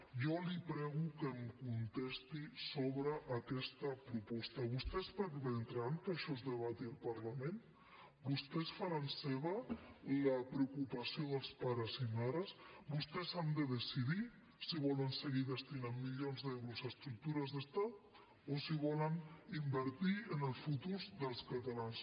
jo li prego que em contesti sobre aquesta proposta vostès permetran que això es debati al parlament vostès faran seva la preocupació dels pares i mares vostès han de decidir si volen seguir destinant milions d’euros a estructures d’estat o si volen invertir en el futur dels catalans